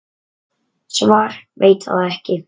Svar: Veit það ekki.